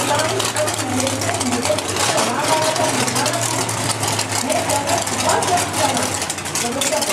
Client आनी management म्हजेर कितले रागार आसात हें जाणा तूं? हें सगळें तुकाच लागून जालां. वेवस्थापक